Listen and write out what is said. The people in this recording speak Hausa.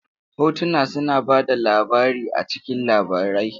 Hotuna suna ba da labari a cikin labarai.